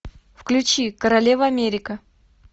включи королева америка